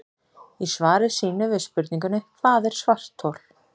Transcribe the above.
Í svari sínu við spurningunni Hvað er svarthol?